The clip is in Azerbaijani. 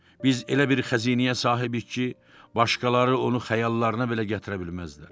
Biz elə bir xəzinəyə sahibik ki, başqaları onu xəyallarına belə gətirə bilməzlər.